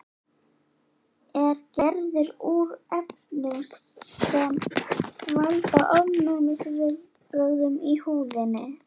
Er gerður úr efnum sem valda ofnæmisviðbrögðum í húðinni.